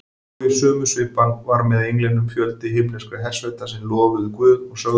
Og í sömu svipan var með englinum fjöldi himneskra hersveita sem lofuðu Guð og sögðu: